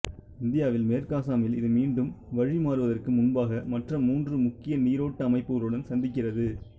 இந்தியாவில் மேற்கு அசாமில் இது மீண்டும் வழிமாறுவதற்கு முன்பாக மற்ற மூன்று முக்கிய நீரோட்ட அமைப்புகளுடன் சந்திக்கிறது